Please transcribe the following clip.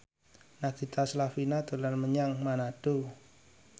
Nagita Slavina dolan menyang Manado